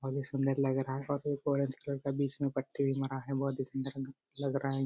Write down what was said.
ओर ये सुंदर लग रहा है और ये ऑरेंज कलर का बीच में पट्टी भी मारा है बहुत ही सुंदर लग रहा है।